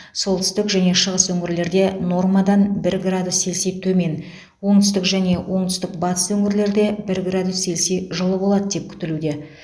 солтүстік және шығыс өңірлерде нормадан бір градус селси төмен оңтүстік және оңтүстік батыс өңірлерде бір градус селси жылы болады деп күтілуде